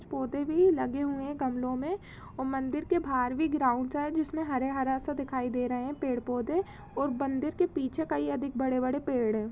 पौधे भी लगे हुए है गमलों मे और मंदिर के बाहर भी ग्राउन्ड सा है जिसमे हरे -हरा सा दीखाई दे रहे है पेड़-पौधे और बंदिर के पीछे कई अधिक बड़े-बड़े पेड़ है।